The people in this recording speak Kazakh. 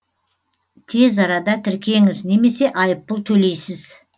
тез арада тіркеңіз немесе айыппұл төлейсіз